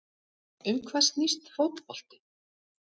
Um hvað snýst fótbolti?